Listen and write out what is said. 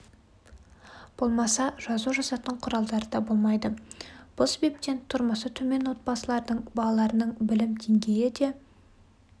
болмаса жазу жазатын құралдары да болмайды бұл себептен тұрмысы төмен отбасылардың балаларының білім деңгейі де